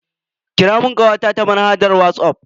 Kira mun kawata ta manhajar Whatsapp.